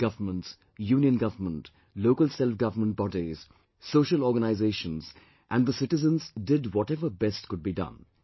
State governments, Union government, local selfgovernment bodies, social organisations and the citizens did whatever best could be done